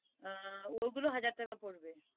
ওইগুলো হাজার টাকা পড়বে